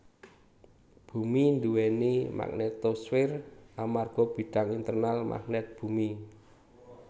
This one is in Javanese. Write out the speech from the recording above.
Bumi duwéni magnetosfer amarga bidang internal magnet bumi